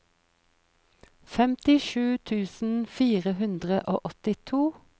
femtisju tusen fire hundre og åttito